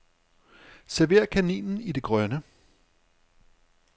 Server kaninen i det grønne.